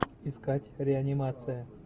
искать реанимация